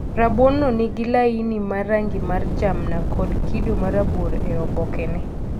Rabuon no nigi laini ma rangi mar jamna kod kido marabuor e obokne.